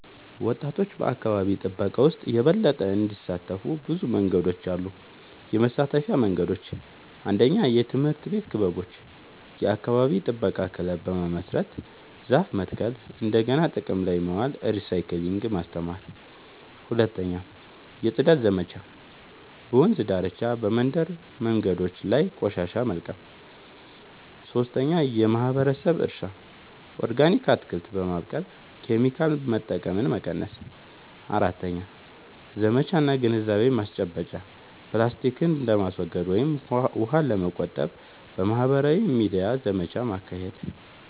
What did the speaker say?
ወጣቶች በአካባቢ ጥበቃ ውስጥ የበለጠ እንዲሳተፉ ብዙ መንገዶች አሉ -የመሳተፊያ መንገዶች፦ 1. የትምህርት ቤት ክበቦች – የአካባቢ ጥበቃ ክለብ በመመስረት ዛፍ መትከል፣ እንደገና ጥቅም ላይ ማዋል (recycling) ማስተማር። 2. የጽዳት ዘመቻዎች – በወንዝ ዳርቻ፣ በመንደር መንገዶች ላይ ቆሻሻ መልቀም። 3. የማህበረሰብ እርሻ – ኦርጋኒክ አትክልት በማብቀል ኬሚካል መጠቀምን መቀነስ። 4. ዘመቻ እና ግንዛቤ ማስጨበጫ – ፕላስቲክን ለማስወገድ ወይም ውሃን ለመቆጠብ በማህበራዊ ሚዲያ ዘመቻ ማካሄድ።